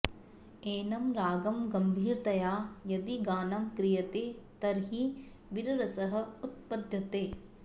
एनं रागं गम्भीरतया यदि गानं क्रियते तर्हि वीररसः उत्पद्यते